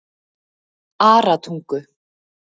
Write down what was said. Aratungu